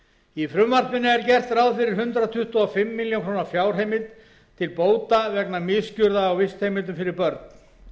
í frumvarpinu er gert ráð fyrir hundrað tuttugu og fimm ár fjárheimild til bóta vegna misgjörða á vistheimilum fyrir börn